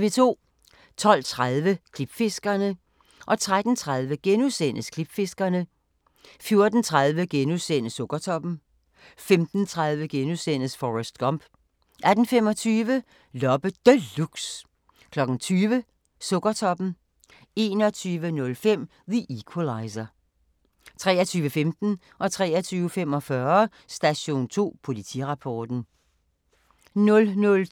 12:30: Klipfiskerne 13:30: Klipfiskerne * 14:30: Sukkertoppen * 15:30: Forrest Gump * 18:25: Loppe Deluxe 20:00: Sukkertoppen 21:05: The Equalizer 23:15: Station 2: Politirapporten 23:45: Station 2: Politirapporten 00:20: Taget på fersk gerning